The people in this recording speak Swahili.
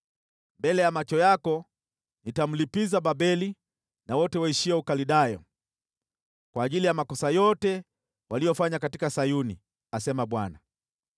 “Mbele ya macho yako nitamlipiza Babeli na wote waishio Ukaldayo kwa ajili ya makosa yote waliyofanya katika Sayuni,” asema Bwana .